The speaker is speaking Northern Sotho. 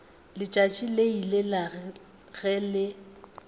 letšatši le ile ge le